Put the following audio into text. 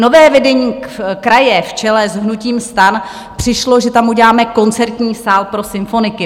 Nové vedení kraje v čele s hnutím STAN přišlo, že tam uděláme koncertní sál pro symfoniky.